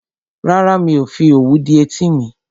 Rárá, mi ò fi òwú dí etí mi